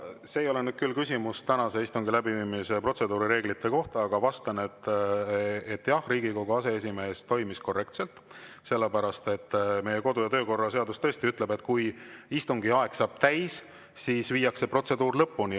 See ei olnud nüüd küll küsimus tänase istungi läbiviimise protseduurireeglite kohta, aga vastan, et jah, Riigikogu aseesimees toimis korrektselt, sest meie kodu‑ ja töökorra seadus tõesti ütleb, et kui istungi aeg saab täis, siis viiakse protseduur lõpuni.